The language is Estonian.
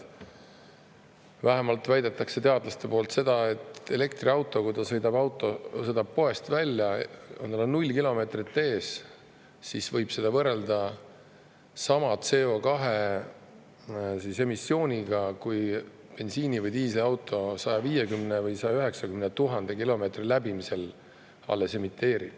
Vähemalt teadlased väidavad, et kui elektriauto sõidab poest välja, tal on null kilomeetrit ees, siis võib tema CO2 emissiooni võrrelda, mille bensiini- või diisliauto emiteerib alles 150 000 või 190 000 kilomeetri läbimisel.